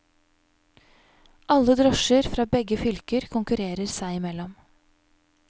Alle drosjer fra begge fylker konkurrerer seg i mellom.